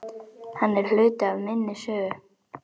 Hann er hluti af minni sögu.